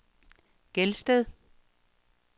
Gelsted